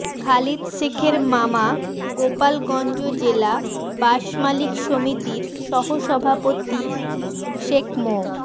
খালিদ শেখের মামা গোপালগঞ্জ জেলা বাসমালিক সমিতির সহসভাপতি শেখ মো